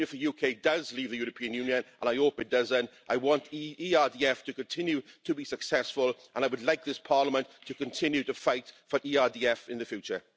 Even if the UK does leave the European Union and I hope it doesn't I want ERDF to continue to be successful and I would like this Parliament to continue to fight for the ERDF in the future.